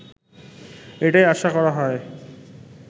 এটাই আশা করা হয়